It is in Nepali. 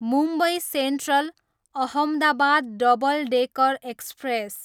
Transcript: Mumbai central, Ahmedabad double decker express